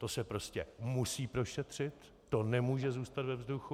To se prostě musí prošetřit, to nemůže zůstat ve vzduchu.